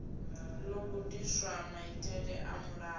ḓo gudiswa maitele a mulayo